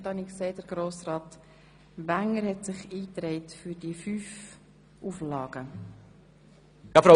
Für Gebäudeteile, die mit dem Holz vom Kanton gefertigt werden, ist die Rückverfolgbarkeit durch die gesamte Produktion sicherzustellen.